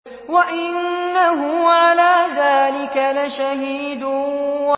وَإِنَّهُ عَلَىٰ ذَٰلِكَ لَشَهِيدٌ